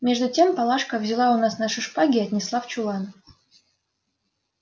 между тем палашка взяла у нас наши шпаги и отнесла в чулан